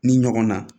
Ni ɲɔgɔn na